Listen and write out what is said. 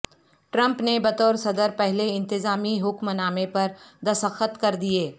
Trump نے بطور صدر پہلے انتظامی حکم نامے پر دستخط کر دیے